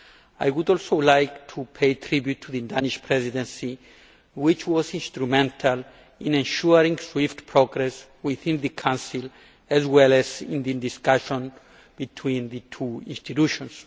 I would also like to pay tribute to the Danish Presidency which was instrumental in ensuring swift progress within the Council as well as the discussion between the two institutions.